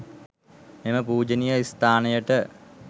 මෙම පූජනීය ස්ථානයට